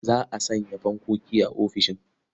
Za a sanya fankoki a ofisishin.